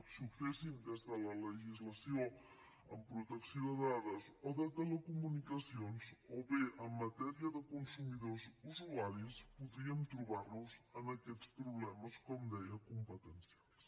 si ho féssim des de la legislació en protecció de dades o de telecomunicacions o bé en matèria de consumidors usuaris podríem trobar nos aquests problemes com deia competencials